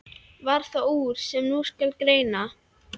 Varð það úr, sem nú skal greina.